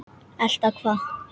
Elta hvað?